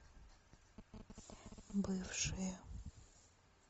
бывшие